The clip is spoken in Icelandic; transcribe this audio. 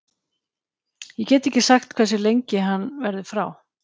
Ég get ekki sagt hversu lengi hann verður frá.